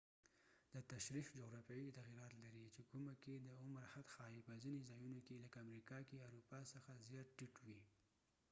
دا تشریح جغرافیايي تغیرات لري چې کومه کې د عمر حد ښايي په ځنو ځایونو کې لکه امریکه کې اروپا څخه زیات ټیټ وي